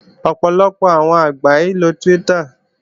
Ọ̀pọ̀lọpọ̀ àwọn àgbà kìí ń lo Twitter